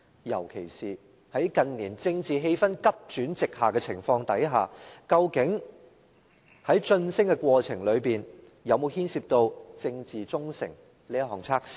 尤其是在近年政治氣氛急轉直下的情況下，究竟在晉升的過程中有否牽涉政治忠誠這項測試呢？